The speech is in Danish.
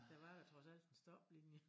Der var jo trods alt en stoplinje